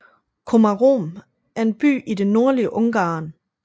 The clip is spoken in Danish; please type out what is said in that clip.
Komárom er en by i det nordlige Ungarn